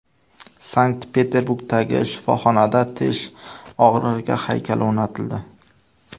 Sankt-Peterburgdagi shifoxonada tish og‘rig‘iga haykal o‘rnatildi.